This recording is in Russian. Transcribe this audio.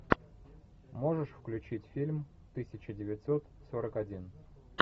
можешь включить фильм тысяча девятьсот сорок один